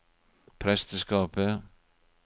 presteskapet